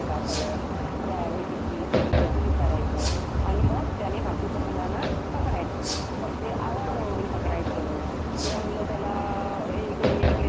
हे किती ते किती ते किती असं विचारायचं आणि मग त्यानी बाकीच्या मुलांना पकडायचं. मग ते आवाजावरून पकडायचं किंवा मुलं त्याला इकडे ये इकडे करतात.